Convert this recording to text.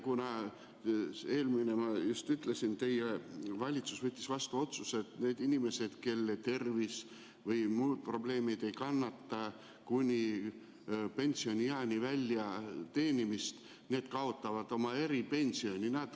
Teie valitsus võttis vastu otsuse, et need inimesed, kellel tervis või muud probleemid ei võimalda kuni pensionieani teenida, kaotavad oma eripensioni.